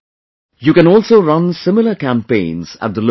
You can also run similar campaigns at the local level